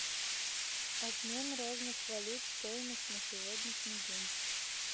обмен разных валют стоимость на сегодняшний день